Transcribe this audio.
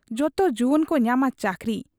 ᱡᱚᱛᱚ ᱡᱩᱣᱟᱹᱱᱠᱚ ᱧᱟᱢᱟ ᱪᱟᱹᱠᱨᱤ ᱾